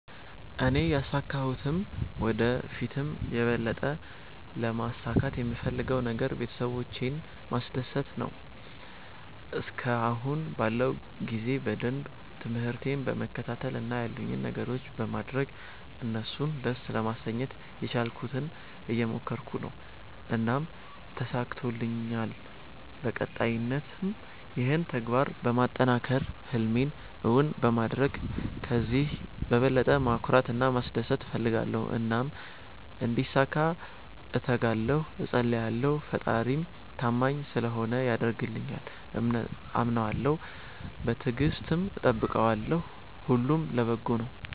እኔ ያሣካሁትም ወደ ፊትም የበለጠ ለማሣካት የምፈለገው ነገር ቤተሠቦቼን ማስደሰት ነዎ። እስከአሁን ባለው ጊዜ በደንብ ትምርህቴን በመከታተል እና ያሉኝን ነገሮች በማድረግ እነሡን ደስ ለማሠኘት የቻልኩትን እየሞከረኩ ነው። እናም ተሣክቶልኛል በቀጣይነትም ይህንን ተግባር በማጠናከር ህልሜን እውን በማድረግ ከዚህ በበለጠ ማኩራት እና ማስደሰት እፈልጋለሁ። እናም እንዲሣካ እተጋለሁ እፀልያለሁ። ፈጣሪም ታማኝ ስለሆነ ያደርግልኛል። አምነዋለሁ በትግስትም እጠብቀዋለሁ። ሁሉም ለበጎ ነው።